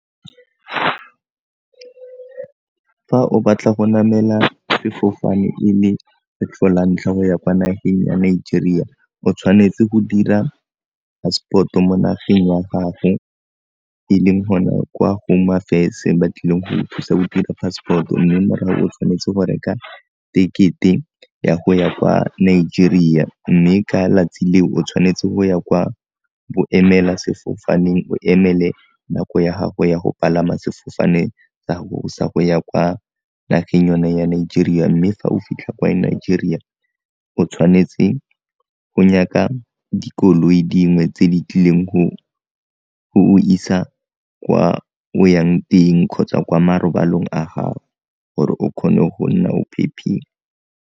Fa o batla go namela sefofane e le kgetlho la ntlha o ya kwa nageng ya Nigeria o tshwanetse go dira passport mo nageng ya gago e leng gona kwa Home Affairs ba tlileng go go thusa go dira passport mme morago o tshwanetse go reka tekete ya go ya kwa Nigeria, mme ka 'latsi leo o tshwanetse go ya kwa boemela sefofaneng o emele nako ya gago ya go palama sefofane sa gago sa go ya kwa nageng yone ya Nigeria mme fa o fitlha kwa Nigeria o tshwanetse go nyaka dikoloi dingwe tse di tlileng go go isa kwa o yang teng kgotsa kwa marobalong a gao gore o kgone go nna o phephile.